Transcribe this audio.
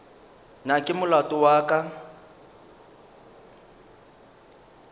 na ke molato wa ka